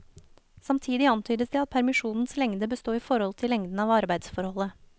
Samtidig antydes det at permisjonens lengde bør stå i forhold til lengden av arbeidsforholdet.